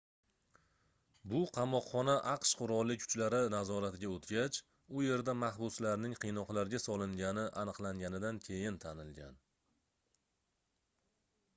bu qamoqxona aqsh qurolli kuchlari nazoratiga oʻtgac u yerda mahbuslarning qiynoqlarga solingani aniqlanganidan keyin tanilgan